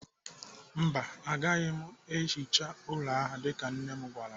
Mba, agaghị m ehicha ụlọ ahụ dịka nne m gwara m.